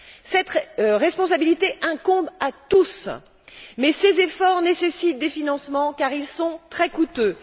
Cette responsabilité incombe à tous mais ces efforts nécessitent des financements car ils sont très coûteux.